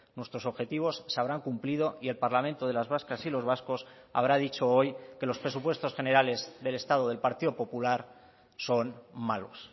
nuestros objetivos se habrán cumplido y el parlamento de las vascas y los vascos habrá dicho hoy que los presupuestos generales del estado del partido popular son malos